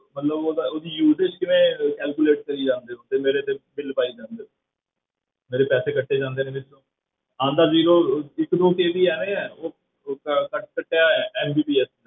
ਮਤਲਬ ਉਹਦਾ ਉਹਦੀ uses ਕਿਵੇਂ calculate ਕਰੀ ਜਾਂਦੇ ਹੋ ਤੇ ਮੇਰੇ ਤੇ ਬਿੱਲ ਪਾਈ ਜਾਂਦੇ ਹੋ ਮੇਰੇ ਪੈਸੇ ਕੱਟੇ ਜਾਂਦੇ ਨੇ ਵਿੱਚੋਂ, ਆਉਂਦਾ zero ਇੱਕ ਦੋ KB ਆਏ ਹੈ ਉਹ ਉਹ ਕੱਟ~ ਕੱਟਿਆ MBPS